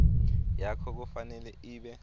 yakho kufanele ibe